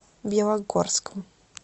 белогорском